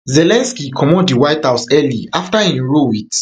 zelensky comot di white house early afta im row wit